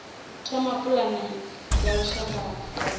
thoma pulane ya lushaka ya